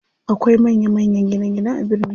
Akwai manya manya gine gine a birni.